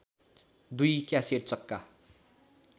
दुई क्यासेट चक्का